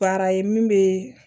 Baara ye min bɛ